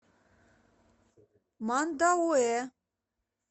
мандауэ